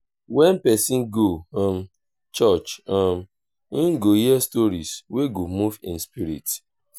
wen pesin go um church um im go hear stories wey go move im spirit.